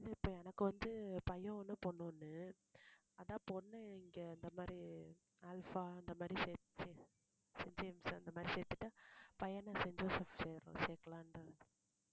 இப்ப எனக்கு வந்து பையன் ஒண்ணு பொண்ணு ஒண்ணு அதான் பொண்ணு இங்க இந்த மாதிரி அல்பா அந்த மாதிரி செயின்ட் ஜேம்ஸ் செயின்ட் ஜேம்ஸ் அந்த மாதிரி சேர்த்துட்டா பையனை செயின்ட் ஜோசப் சேர்லா~ சேர்க்கலாம்